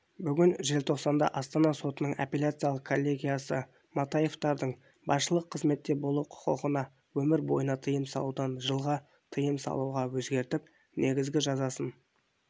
бүгін желтоқсанда астана сотының апелляциялық коллегиясы матаевтардың басшылық қызметте болу құқығына өмір бойына тыйым салудан жылға тыйым салуға өзгертіп негізгі жазасын